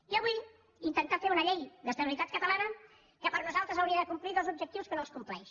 i avui intentar fer una llei d’estabilitat catalana que per nosaltres hauria de complir dos objectius que no els compleix